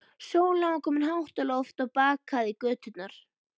Sólin var komin hátt á loft og bakaði göturnar.